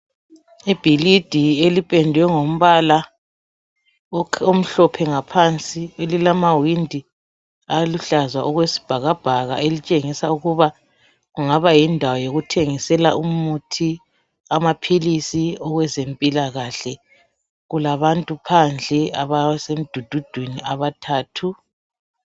Ibhilidi elipendwe ngombala omhlophe ngaphansi, elilamawindi aluhlaza okwesibhakabhaka, elitshengisa ukuba kungaba yindawo yokuthengisela umuthi, amaphilisi wezempilakahle. Kulabantu phandle abasemdududwini abathathu.